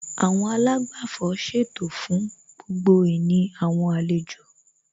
Àwọn àlágbàfọ̀ ṣètò fún gbogbo ìní àwọn àlejò